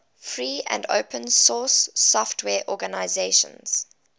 free and open source software organizations